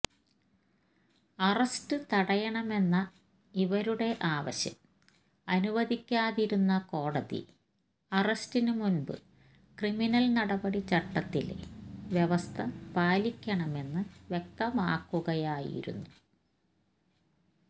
arrest തടയണമെന്ന ഇവരുടെ ആവശ്യം അനുവദിക്കാതിരുന്ന കോടതി അറസ്റ്റിന് മുമ്പ് ക്രിമിനൽ നടപടി ചട്ടത്തിലെ വ്യവസ്ഥ പാലിക്കണമെന്ന് വ്യക്തമാക്കുകയായിരുന്നു